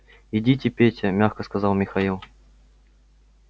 идите петя мягко сказал михаил